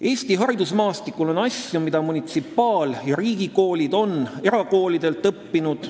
Eesti haridusmaastikul on asju, mida munitsipaal- ja riigikoolid on erakoolidelt õppinud.